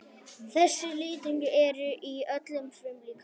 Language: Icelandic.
Þessir litningar eru í öllum frumum líkamans nema kynfrumunum.